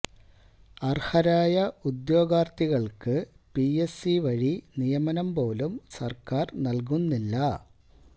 അർഹരായ ഉദ്യോഗാർത്ഥികൾക്ക് P S C വഴി നിയമനം പോലും സർക്കാർ നൽകുന്നില്ല